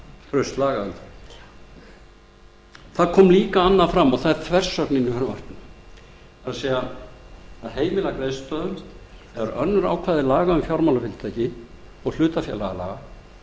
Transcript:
traust lagaumhverfi annað kom líka fram og það er þversögnin í frumvarpinu það er að heimila greiðslustöðvun þegar önnur ákvæði laga um fjármálafyrirtæki og ákvæði hlutafélagalaga gera fjármálaeftirlitinu það